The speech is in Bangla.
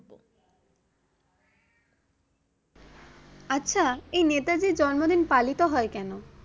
আচ্ছা এই নেতাজির জন্মদিন পালিত হয় কেনো?